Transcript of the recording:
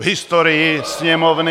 V historii Sněmovny...